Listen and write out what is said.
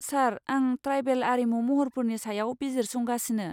सार, आं ट्राइबेल आरिमु महरफोरनि सायाव बिजिरसंगासिनो।